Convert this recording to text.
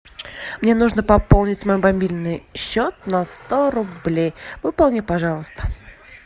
мне нужно пополнить мой мобильный счет на сто рублей выполни пожалуйста